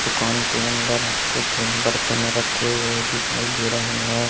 दुकान के अंदर कुछ बर्तन रखी हुई दिखई दे रहे है।